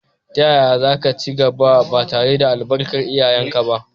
Yaya za ka ci gaba, ba tare da albarkar iyayenka ba?